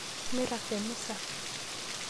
Mirag te misa.